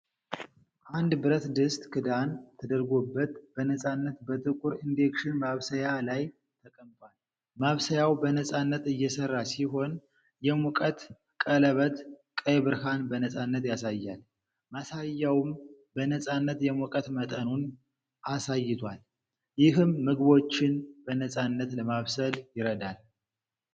አንድ ብረት ድስት ክዳን ተደርጎበት በነፃነት በጥቁር ኢንደክሽን ማብሰያ ላይ ተቀምጧል። ማብሰያው በነፃነት እየሰራ ሲሆን፣ የሙቀት ቀለበት ቀይ ብርሃን በነፃነት ያሳያል። ማሳያውም በነፃነት የሙቀት መጠኑን ነ አሳይቷል፤ ይህም ምግቦችን በነፃነት ለማብሰል ይረዳል።